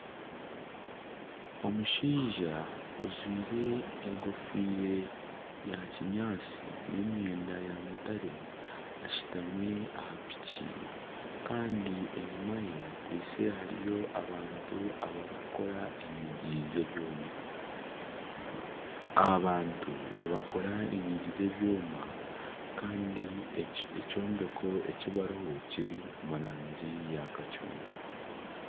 Omushaija ajwaire enkofiira ya kinyaatsi aine emyenda ya mutare ashutami aha piki kandi enyuma ye hariho abantu abarikukora enyigi z'ebyoma abantu nibakora enyigi z'ebyoma kandi ekyombeko eki bariho kiri omu rangi ya kacungwa.